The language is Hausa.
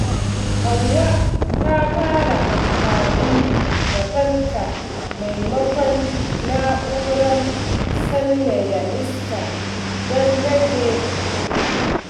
Hauwa ta fara amfani da fanka maimakon na'urar sanyaya iska don rage kuɗi.